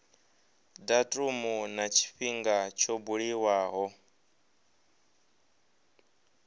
datumu na tshifhinga tsho buliwaho